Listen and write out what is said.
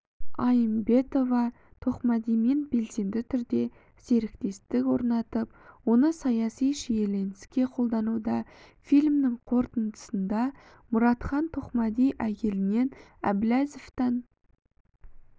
аимбетова-тоқмәдимен белсенді түрде серіктестік орнатып оны саяси шиеленіске қолдануда фильмінің қорытындысында мұратхан тоқмәди әйелінен әбіләзовтан